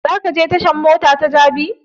Za ka je tashan mota ta jabi?